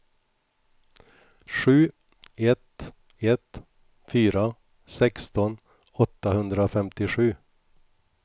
sju ett ett fyra sexton åttahundrafemtiosju